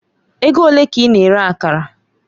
Ego ole ka ị na-ere Akara?